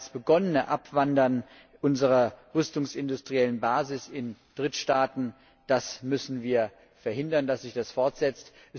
Das bereits begonnene Abwandern unserer rüstungsindustriellen Basis in Drittstaaten müssen wir verhindern, damit es sich nicht fortsetzt.